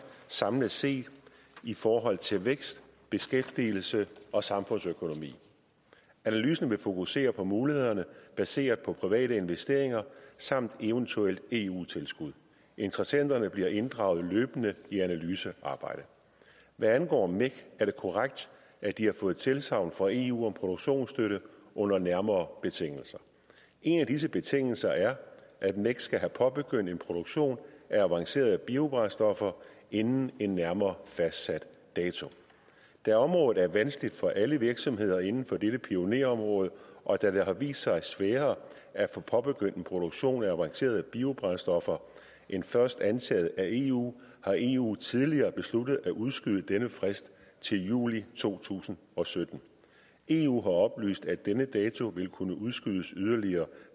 samlet set i forhold til vækst beskæftigelse og samfundsøkonomi analysen vil fokusere på mulighederne baseret på private investeringer samt eventuelle eu tilskud interessenterne bliver inddraget løbende i analysearbejdet hvad angår mec er det korrekt at de har fået tilsagn fra eu om produktionsstøtte under nærmere betingelser en af disse betingelser er at mec skal have påbegyndt en produktion af avancerede biobrændstoffer inden en nærmere fastsat dato da området er vanskeligt for alle virksomheder inden for dette pionerområde og da det har vist sig sværere at få påbegyndt en produktion af avancerede biobrændstoffer end først antaget af eu har eu tidligere besluttet at udskyde denne frist til juli to tusind og sytten eu har oplyst at denne dato vil kunne udskydes yderligere